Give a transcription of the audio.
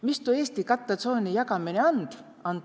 Mis tuu Eesti kattõ tsooni jagamine and?